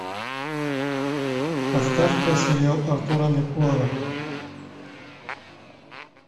поставь ка сериал артура меркулова